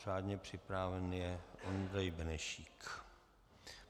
Řádně přihlášen je Ondřej Benešík.